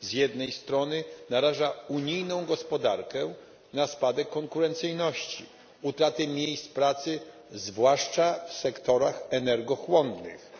z jednej strony naraża unijną gospodarkę na spadek konkurencyjności, utratę miejsc pracy, zwłaszcza w sektorach energochłonnych,